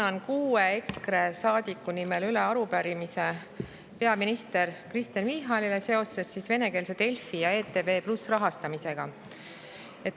Annan kuue EKRE saadiku nimel üle arupärimise peaminister Kristen Michalile seoses venekeelse Delfi ja ETV+ rahastamisega.